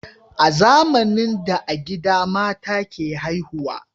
A zamanin da a gida mata ke haihuwa